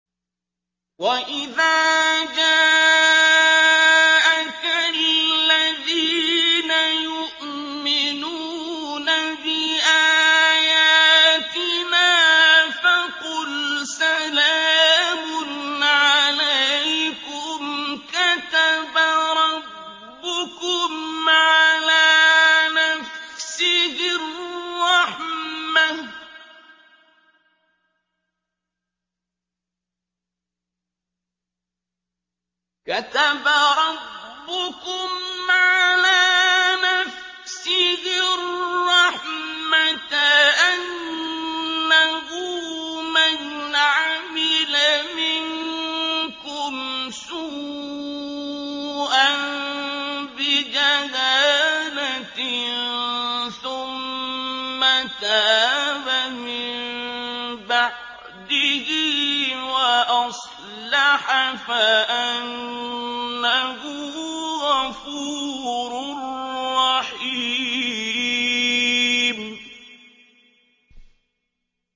وَإِذَا جَاءَكَ الَّذِينَ يُؤْمِنُونَ بِآيَاتِنَا فَقُلْ سَلَامٌ عَلَيْكُمْ ۖ كَتَبَ رَبُّكُمْ عَلَىٰ نَفْسِهِ الرَّحْمَةَ ۖ أَنَّهُ مَنْ عَمِلَ مِنكُمْ سُوءًا بِجَهَالَةٍ ثُمَّ تَابَ مِن بَعْدِهِ وَأَصْلَحَ فَأَنَّهُ غَفُورٌ رَّحِيمٌ